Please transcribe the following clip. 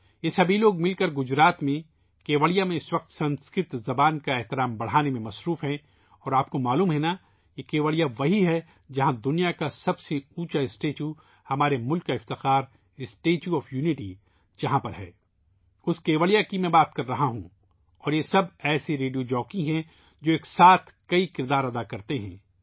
یہ تمام لوگ گجرات میں ، کیوڑیا میں اِس وقت سنسکرت زبان کی قدر بڑھانے میں مصروف ہیں اور آپ جانتے ہیں کہ یہ کیوڑیا وہی ہے ، جہاں دنیا کا سب سے اونچا مجسمہ ، ہمارے ملک کا فخر ، مجسمۂ اتحاد ہے ، میں اس کیوڑیا کے بارے میں بات کر رہا ہوں اور یہ سب ایسے ریڈیو جوکی ہیں ، جو بیک وقت کئی کردار ادا کرتے ہیں